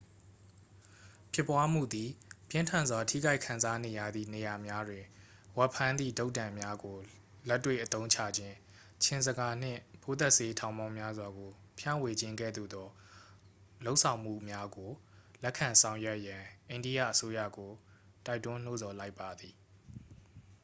ဖြစ်ပွားမှုသည် ပြင်းထန်စွာ ထိခိုက်ခံစားနေရသည့် နေရာများတွင် ဝက်ဖမ်းသည့်တုတ်တံများကို လက်တွေ့အသုံးချခြင်း ခြင်ဇကာနှင့် ပိုးသတ်ဆေး ထောင်ပေါင်းများစွာကို ဖြန့်ဝေခြင်းကဲ့သို့သော လုပ်ဆောင်မှုများကို လက်ခံဆောင်ရွက်ရန် အိန္ဒိယအစိုးရကို တိုက်တွန်းနှိုးဆော်လိုက်ပါသည်